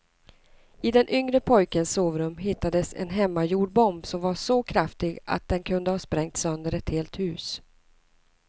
I den yngre pojkens sovrum hittades en hemmagjord bomb som var så kraftig att den kunde ha sprängt sönder ett helt hus.